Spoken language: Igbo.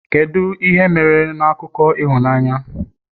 kedu ihe mere na akụkọ ịhụnanya?